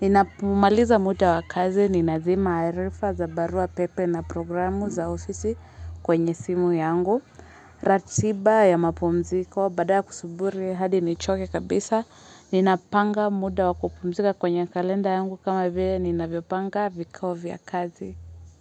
Ninapomaliza muda wa kazi ni Nazima Arifa za barua pepe na programu za ofisi kwenye simu yangu. Ratiba ya mapumziko, baada ya kusuburi hadi nichoke kabisa. Ninapanga muda wakupumzika kwenye kalenda yangu kama vye ninapanga vikao vya kazi.